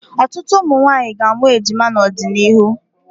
Ọtụtụ ụmụnwaanyị ga-amụ ejima n'ọdịnihu.